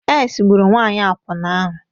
AIDS gburu nwanyị akwụna ahụ.